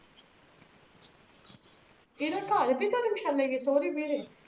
ਇਹਦਾ ਘਰ ਵੀ ਧਰਮਸ਼ਾਲਾ ਇਹ ਹੈ ਸੋਹਰੇ ਵੀ ਇਹਦੇ